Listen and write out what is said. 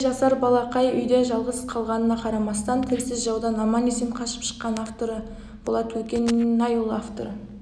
семейде жасар балақай үйде жалғыз қалғанына қарамастан тілсіз жаудан аман-есен қашып шыққан авторы болат көкенайұлы авторы